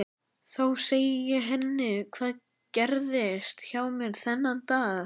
Þá segi ég henni hvað gerðist hjá mér þennan dag.